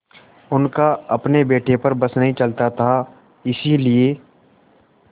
उनका अपने बेटे पर बस नहीं चलता था इसीलिए